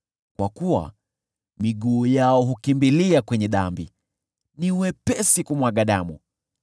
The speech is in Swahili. kwa kuwa miguu yao hukimbilia kwenye dhambi, ni wepesi kumwaga damu.